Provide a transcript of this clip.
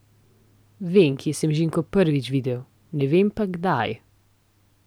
Vem, kje sem Žiko prvič videl, ne vem pa, kdaj.